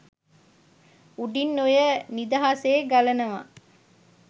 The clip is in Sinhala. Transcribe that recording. උඩින් ඔය නිදහසේ ගලනවා